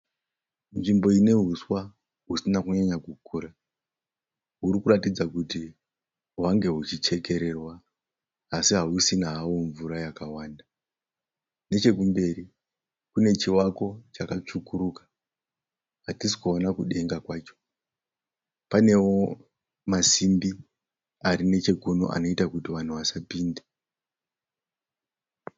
Nzvimbo inehuswa husina kunyanya kukura. Hurikuratidza kuti hwange huchichekererwa asi hausisina hawo mvura yakawanda. Nechekumberi kune chivako chakatsvukuruka hatisi kuona kudenga kwacho. Panewo masimbi arinechekuno anoita kuti vanhu vasapinde.